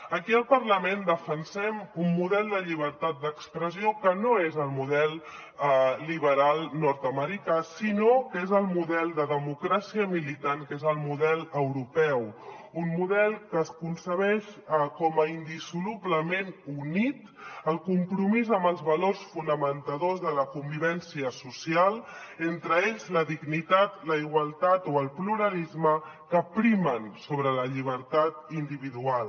aquí al parlament defensem un model de llibertat d’expressió que no és el model liberal nord americà sinó que és el model de democràcia militant que és el model europeu un model que es concep com a indissolublement unit al compromís amb els valors fonamentadors de la convivència social entre ells la dignitat la igualtat o el pluralisme que primen sobre la llibertat individual